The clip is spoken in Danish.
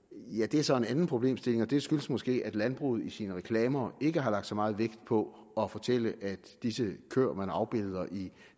er så en anden problemstilling og det skyldes måske at landbruget i sine reklamer ikke har lagt meget vægt på at fortælle at disse køer som man afbilder i